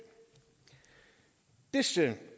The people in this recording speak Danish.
disse